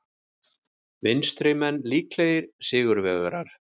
Vinstrimenn líklegir sigurvegarar